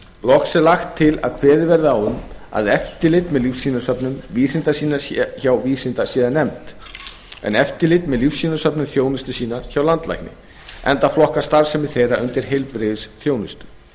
loks er lagt til að eftirlit með lífsýnasöfnum vísindasýna sé hjá vísindasýnanefnd en eftirlit með lífsýnasöfnum þjónustusýna hjá landlækni enda flokkast starfsemi þeirra undir heilbrigðisþjónustu